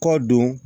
Kɔ don